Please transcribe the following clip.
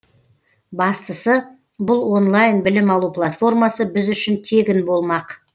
бастысы бұл онлайн білім алу платформасы біз үшін тегін болмақ